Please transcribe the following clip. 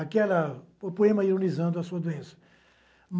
Aquela... o poema ironizando a sua doença.